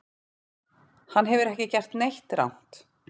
Hann hefur ekki gert neitt rangt